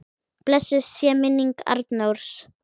Blessuð sé minning Arnórs.